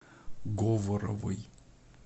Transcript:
говоровой